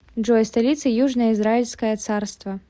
джой столица южное израильское царство